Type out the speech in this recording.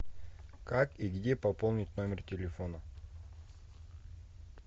как и где пополнить номер телефона